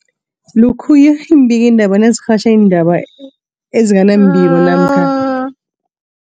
Lokhuya iimbikiindaba nazirhatjha iindaba ezinga nembiko namkha